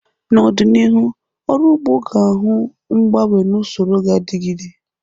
N'ọdịnihu, ọrụ ugbo ga-ahụ mgbanwe n'usoror ga-adigide.